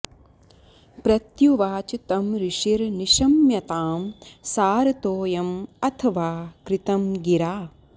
प्रत्युवाच तं ऋषिर्निशम्यतां सारतोऽयं अथ वा कृतं गिरा